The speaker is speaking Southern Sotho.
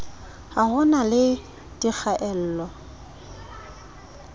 ha ho na le dikgaello